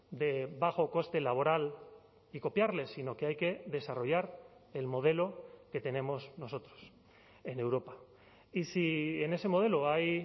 de bajo coste laboral y copiarles sino que hay que desarrollar el modelo que tenemos nosotros en europa y si en ese modelo hay